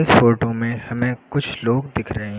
Photo में हमें कुछ लोग दिख रहे हैं।